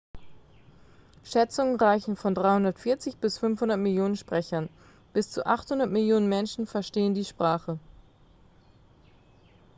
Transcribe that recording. schätzungen reichen von 340 bis 500 millionen sprechern bis zu 800 millionen menschen verstehen die sprache